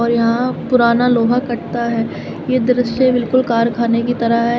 और यहां पुराना लोहा कटता है ये दृश्य बिल्कुल कारखाने की तरह है।